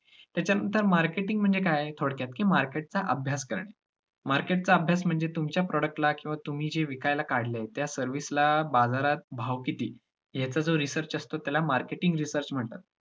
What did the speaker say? त्याच्यानंतर marketing म्हणजे काय? थोडक्यात की market चा अभ्यास करणे market चा अभ्यास म्हणजे तुमच्या product ला किंवा तुम्ही जे विकायला काढले, त्या service ला बाजारात भाव किती? याचा जो research असतो, त्याला marketing research म्हणतात.